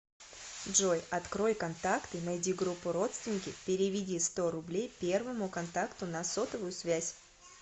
джой открой контакты найди группу родственники переведи сто рублей первому контакту на сотовую связь